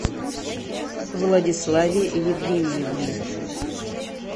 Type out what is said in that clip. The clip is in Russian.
владиславе евгеньевне